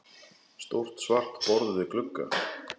Stórt svart borð við glugga.